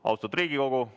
Austatud Riigikogu!